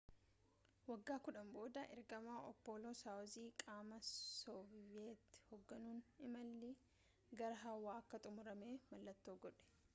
wagga kudhanii booda ergama appollo soyuzii qaama sooviyet hogganuun imallii gara hawwa akka xumurame mallattoo godhe